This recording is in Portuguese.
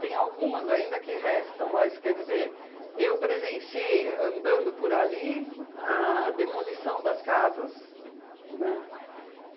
Tem algumas ainda que restam, mas quer dizer, eu presenciei, andando por ali, a demolição das casas, né?